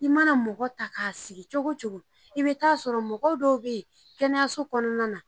I mana mɔgɔ ta k'a sigi cogo o cogo i bɛ taa sɔrɔ mɔgɔw dɔw bɛ yen kɛnɛyaso kɔnɔna na